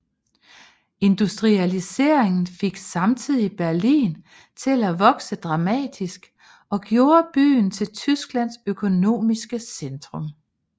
Industrialiseringen fik samtidig Berlin til at vokse dramatisk og gjorde byen til Tysklands økonomiske centrum